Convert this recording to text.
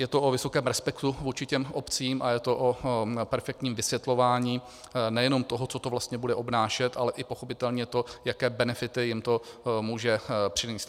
Je to o vysokém respektu vůči těm obcím a je to o perfektním vysvětlování nejenom toho, co to vlastně bude obnášet, ale i pochopitelně to, jaké benefity jim to může přinést.